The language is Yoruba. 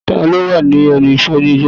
Ta ló wà lẹ́nu iṣẹ́ ni alẹ́ náà?